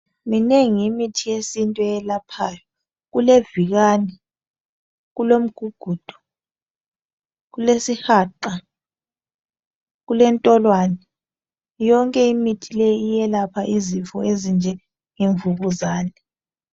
Minengi imithi yesintu eyelaphayo kulevikani, kulomgugudu, isihaqa kulentolwane yonke imithi leyi iyelapha izifo ezinjenge mvukuzane.